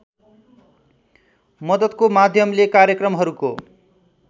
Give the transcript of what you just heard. मद्दतको माध्यमले कार्यक्रमहरूको